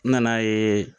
N nana ye